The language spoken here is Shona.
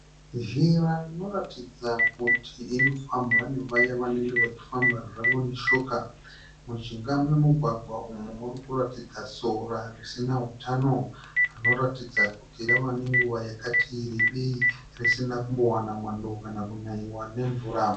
Zhira inoratidza kuti inofambwa nevaya vanenge vachifamba zvavo netsoka. Mujinga memugwagwa uyu murikuratidza sora risina hutano rinoratidza kuti rave nenguva yakati rebei isina kumbowana mwando kana kunaiwa nemvura